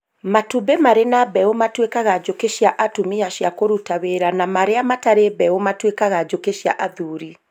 Matumbĩ marĩ na mbeũ matuĩkaga njũkĩ cia atumia cia kũruta wĩra na marĩa matarĩ mbeũ matũikaga njũkĩ cia athuri